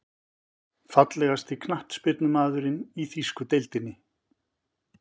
Fallegasti knattspyrnumaðurinn í þýsku deildinni?